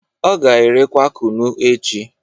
O ga-erekwa kunu echi